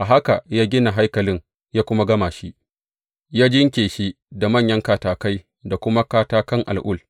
A haka ya gina haikalin ya kuma gama shi, ya jinƙe shi da manyan katakai da kuma katakan al’ul.